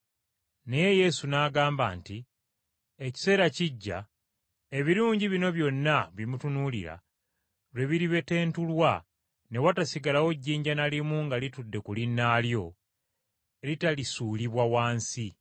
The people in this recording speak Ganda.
Naye Yesu n’agamba nti, “Ekiseera kijja ebirungi bino byonna bye mutunuulira lwe biribetentulwa ne watasigalawo jjinja na limu nga litudde ku linnaalyo, eritalisuulibwa wansi.”